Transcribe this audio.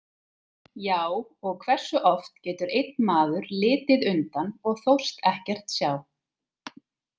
Já, og hversu oft getur einn maður litið undan og þóst ekkert sjá?